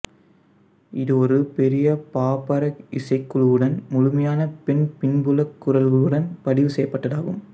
இது ஒரு பெரிய பாப்ராக் இசைக்குழுவுடன் முழுமையான பெண் பின்புலக் குரல்களுடன் பதிவு செய்யப்பட்டதாகும்